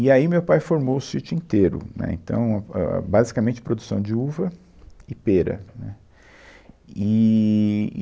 E aí meu pai formou o sítio inteiro, né, então, ãh, basicamente produção de uva e pera, né. Eee e